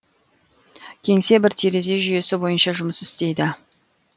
кеңсе бір терезе жүйесі бойынша жұмыс істейді